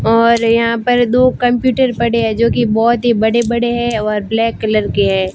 और यहां पर दो कंप्यूटर पड़े हैं जो की बहुत ही बड़े-बड़े हैं और ब्लैक कलर के हैं।